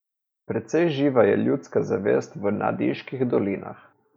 Precej živa je ljudska zavest v Nadiških dolinah.